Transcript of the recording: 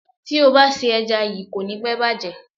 Tí o bá se ẹja yíì, kò ní pẹ́ bàjẹ́.